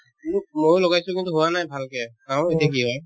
উম, ময়ো লগাইছো কিন্তু হোৱা নাই ভালকে চাও এতিয়া কি হয়